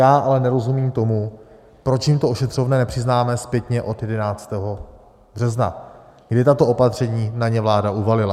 Já ale nerozumím tomu, proč jim to ošetřovné nepřiznáme zpětně od 11. března, kdy tato opatření na ně vláda uvalila.